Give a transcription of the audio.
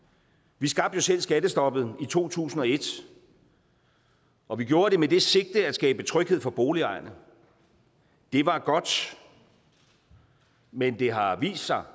vi skabte jo selv skattestoppet i to tusind og et og vi gjorde det med det sigte at skabe tryghed for boligejerne det var godt men det har vist sig